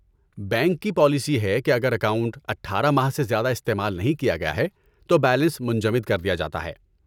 bank کی policy ہے کہ اگر اکاؤنٹ اٹھارہ ماہ سے زیادہ استعمال نہیں کیا گیا ہے تو بیلنس منجمد کر دیا جاتا ہے